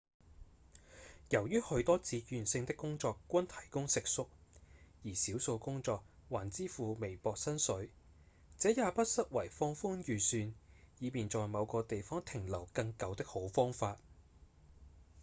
由於許多志願性的工作均提供食宿而少數工作還支付微薄薪水這也不失為放寬預算以便在某個地方停留更久的好方法